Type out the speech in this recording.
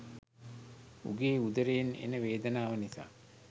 උගේ උදරයෙන් එන වේදනාව නිසා